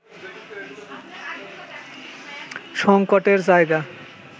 সংকটের জায়গা